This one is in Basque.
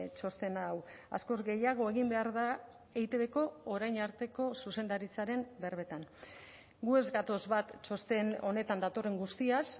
txosten hau askoz gehiago egin behar da eitbko orain arteko zuzendaritzaren berbetan gu ez gatoz bat txosten honetan datorren guztiaz